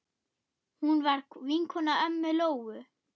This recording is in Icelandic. Hún var vinkona ömmu Lóu.